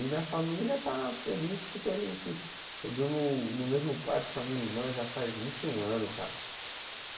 E minha família está feliz porque a gente... Eu durmo no mesmo quarto com a minha irmã já faz vinte e um anos, cara.